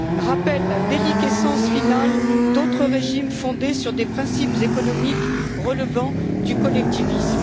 rappellent la déliquescence finale d'autres régimes fondés sur des principes économiques relevant du collectivisme.